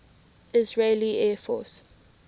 israeli air force